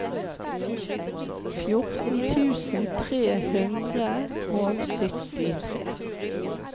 fjorten tusen tre hundre og syttitre